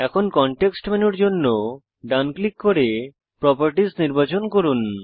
এখন কনটেক্সট মেনুর জন্য ডান ক্লিক করে প্রপার্টিস নির্বাচিত করুন